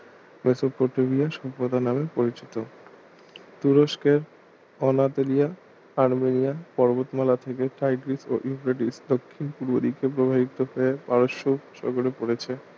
Mesopotamia সভ্যতা নামে পরিচিত তুরস্কের অনাতেলিয়া আরমেনিয়ান পর্বতমালা থেকে টাইগ্রিস ও ইউফ্রেটিস দক্ষিণ পূর্ব দিকে প্রবাহিত হয়ে পারস্য উপসাগরে পড়েছে